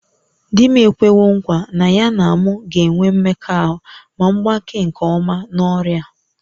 Di m ekwewo nkwa na ya na m ga-enwe mmekọahụ ma m gbakee nke ọma n'ọrịa a